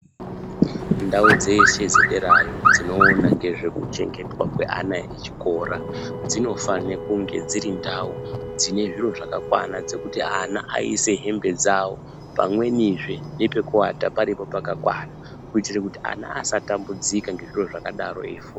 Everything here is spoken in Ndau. Ndau dzeshe dzederayo dzinoona ngezvekuchengetwa kweana echikora dzinofane kunge dziri ndau dzine zviro zvakakwana. Dzekuti ana aise hembe dzavo pamwenizve nepekuata paripo pakakwana. Kuitire kuti ana asatambudzika ngezviro zvakadaro eifunda.